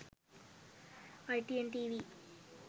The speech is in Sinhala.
itn tv